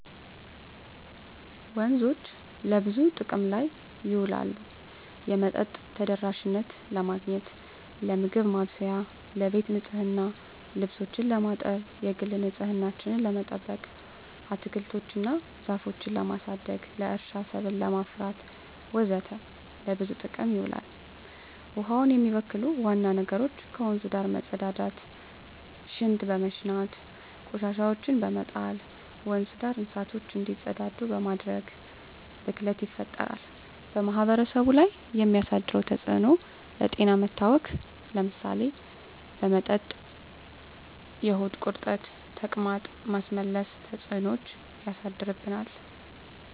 ወንዞች ለብዙ ጥቅም ላይ ይውላሉ የመጠጥ ተደራሽነትን ለማግኘት, ለምግብ ማብሰያ , ለቤት ንፅህና , ልብሶችን ለማጠብ, የግል ንፅህናችን ለመጠበቅ, አትክልቶች እና ዛፎችን ለማሳደግ, ለእርሻ ሰብል ለማፍራት ወዘተ ለብዙ ጥቅም ይውላል። ውሀውን የሚበክሉ ዋና ነገሮች ከወንዙ ዳር መፀዳዳት , ሽንት በመሽናት, ቆሻሻዎችን በመጣል, ወንዙ ዳር እንስሳቶች እንዲፀዳዱ በማድረግ ብክለት ይፈጠራል። በማህበረሰቡ ላይ የሚያደርሰው ተፅዕኖ ለጤና መታወክ ለምሳሌ በመጠጥ የሆድ ቁርጠት , ተቅማጥ, ማስመለስ ተፅዕኖች ያሳድርብናል።